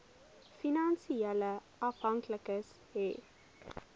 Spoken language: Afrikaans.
finansiële afhanklikes hê